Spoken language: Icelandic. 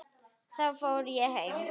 Þá fór ég heim.